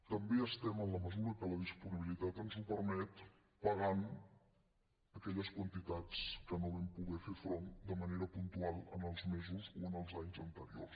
també estem en la mesura que la disponibilitat ens ho permet pagant aquelles quantitats a què no vam poder fer front de manera puntual en els mesos o en els anys anteriors